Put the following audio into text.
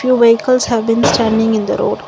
vehicles have been standing in the road.